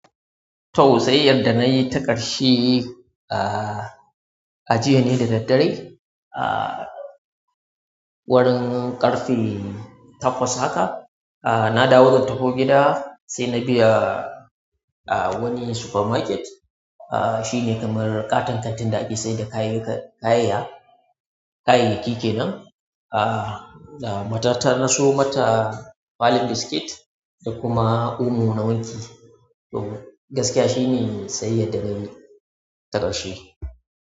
To sai yadda nayi ta ƙarshe, a jiya ne da daddare, ah, wurin ƙarfe takwas haka, ah, na dawo zan taho gida sai na biya wani supermarket. Ah, shi ne kamar ƙaton kantin da ake sayar da ƙayayaki ke nan. Ah, da mata ta na so mata kwalin biskit da kuma omo na wanki. To gaskiya shi ne sai yadda nayi ta ƙarshe.